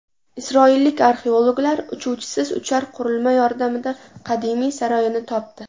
Isroillik arxeologlar uchuvchisiz uchar qurilma yordamida qadimiy saroyni topdi.